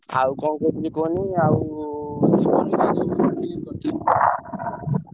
ଆଉ କଣ କହୁଥିଲି କୁହନି ଆଉ ।